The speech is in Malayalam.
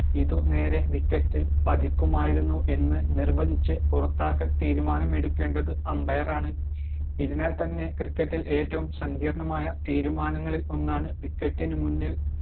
ഇതുനേരെ wicket ഇൽ പതിക്കുമായിരുന്നു എന്ന് നിർവചിച്ച് പുറത്താക്കൽ തീരുമാനം എടുക്കേണ്ടത് umbair ആണ് ഇതിനാൽ തന്നെ cricket ഇൽ ഏറ്റവും സങ്കീർണ്ണ തീരുമാനങ്ങളിൽ ഒന്നാണ് wicket നു മുന്നിൽ